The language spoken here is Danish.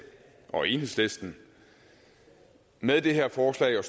og enhedslisten med det her forslag og